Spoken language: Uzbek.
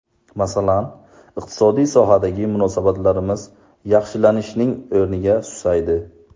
Masalan, iqtisodiy sohadagi munosabatlarimiz yaxshilanishning o‘rniga susaydi.